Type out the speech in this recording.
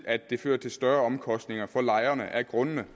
at det fører til større omkostninger for lejerne af grundene